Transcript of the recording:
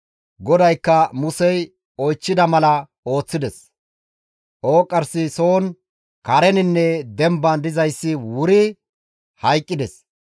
GODAYKKA Musey oychchida mala ooththides; ooqqarsi soon, kareninne demban dizayssi wuri hayqqides.